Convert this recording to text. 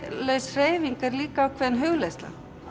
hreyfing er líka ákveðin hugleiðsla